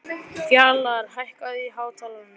Fjalarr, hækkaðu í hátalaranum.